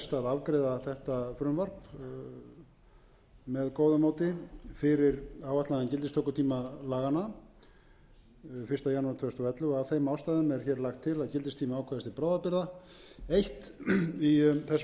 afgreiða þetta frumvarp með góðu móti fyrir áætlaðan gildistökutíma laganna fyrsta janúar tvö þúsund og ellefu og af þeim ástæðum er lagt til að gildistími ákvæðis til bráðabirgða eins í þessum ágætu lögum númer hundrað sextíu og tvö tvö þúsund